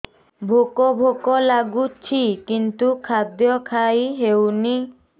ଭୋକ ଭୋକ ଲାଗୁଛି କିନ୍ତୁ ଖାଦ୍ୟ ଖାଇ ହେଉନି